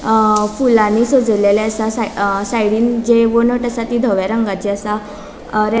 अ फुलानी सजेलेले आसा अ साइडीन जी वणद असा ती दव्या रंगाची असा अ रे --